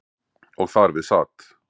Og þar við sat.